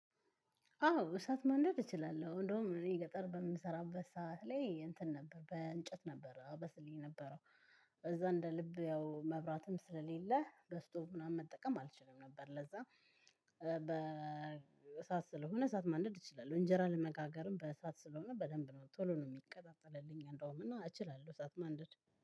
አዎ እሳት ማንደር እችላለሁ እንደውም እኔ ገጠር በምሰራበት ሰዓት ላይ እንትን ነበር በእንጨት ነበር አበስል የነበረው በዛ እንደ ልብ ያው መብራትም ስለሌለ በስቶቭ ምናምን መጠቀም አልችልም ነበር ለዛ። በእሳት ስለሆነ እሳት ማንደድ እችላለሁ እንጀራ ለመጋገርም በእሳት ስለሆነ በደንብ ነው ቶሎ ነው የሚቀጣጠልልኝ እንደውም እችላለሁ እሳት ማንደድ።